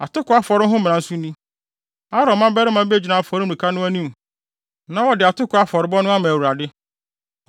“ ‘Atoko afɔre ho mmara nso ni: Aaron mmabarima begyina afɔremuka no anim na wɔde atoko afɔrebɔ no ama Awurade.